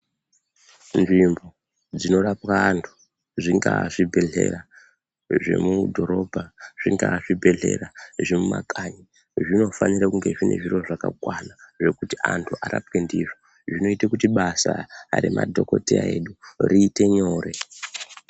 Nzvimbo dzinorapwa andu zvingaa zvibhedlera zvemudhorobha zvingaa zvibhedlera zvemumakanyi zvinofanire kunge zvine zviro zvakakwana zvekuti andu arapwe ndizvo zvinoite kuti basa remadhogodheya edu riite nyore.